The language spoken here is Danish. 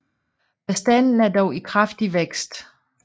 Bestanden er dog i kraftig vækst